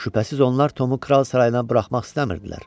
Şübhəsiz onlar Tomu kral sarayına buraxmaq istəmirdilər.